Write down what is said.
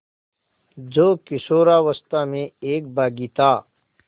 जो किशोरावस्था में एक बाग़ी था